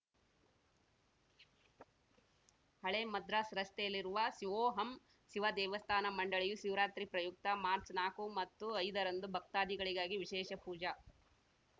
ಹಳೆ ಮದ್ರಾಸ್‌ ರಸ್ತೆಯಲ್ಲಿರುವ ಸಿವೋಹಂ ಸಿವ ದೇವಸ್ಥಾನ ಮಂಡಳಿಯು ಸಿವರಾತ್ರಿ ಪ್ರಯುಕ್ತ ಮಾರ್ಚ್ ನಾಲ್ಕು ಮತ್ತು ಐದರಂದು ಭಕ್ತಾಗಳಿಗಾಗಿ ವಿಶೇಷ ಪೂಜಾ